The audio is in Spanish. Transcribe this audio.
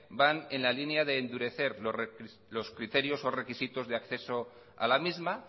van en la línea de endurecer los criterios o requisitos de acceso a la misma